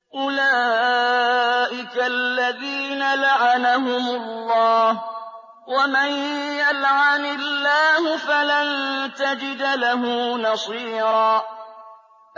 أُولَٰئِكَ الَّذِينَ لَعَنَهُمُ اللَّهُ ۖ وَمَن يَلْعَنِ اللَّهُ فَلَن تَجِدَ لَهُ نَصِيرًا